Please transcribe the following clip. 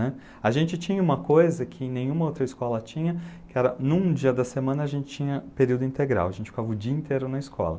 A gente tinha uma coisa que nenhuma outra escola tinha, que era num dia da semana a gente tinha período integral, a gente ficava o dia inteiro na escola.